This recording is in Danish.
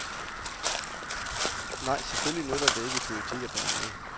Nej, selvfølgelig nytter det ikke i politik at bære nag.